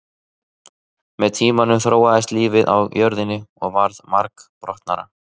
Með tímanum þróaðist lífið á jörðinni og varð margbrotnara.